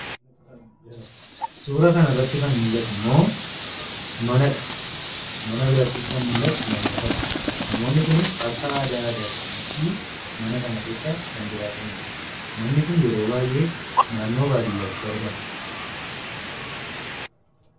Suura kanarratti kan mul'atu immoo manadha; mana birattis kan mul'atu namootadha. Namoonni kunis akka aadaa aadaa isaaniitti mana kana keessa kan jiraatanidha. Manni kun yeroo baay'ee naannoo baadiyaatti argama.